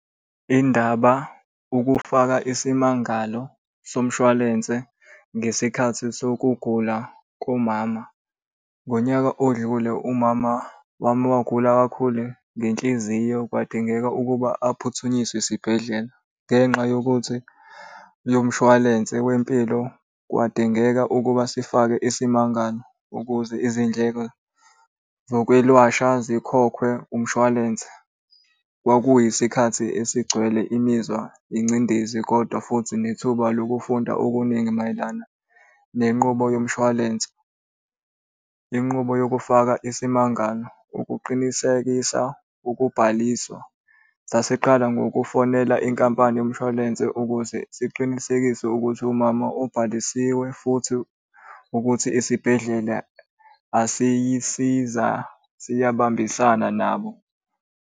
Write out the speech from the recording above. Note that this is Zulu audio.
Indaba ukufaka isimangalo somshwalense ngesikhathi sokugula kumama. Ngonyaka odlule umama wami wagula kakhulu ngenhliziyo kwadingeka ukuba aphuthunyiswe esibhedlela, ngenxa yokuthi yomshwalense wempilo kwadingeka ukuba sifake isimangalo ukuze izindleko zokwelashwa zikhokhwe umshwalense. Kwakuyisikhathi esigcwele imizwa ingcindezi, kodwa futhi nethuba lokufunda okuningi mayelana nenqubo yomshwalense. Inqubo yokufaka isimangalo, ukuqinisekisa ukubhaliswa. Sasiqala ngokufonela inkampani yomshwalense ukuze siqinisekise ukuthi umama ubhalisiwe futhi ukuthi isibhedlela asiyisiza siyabambisana nabo.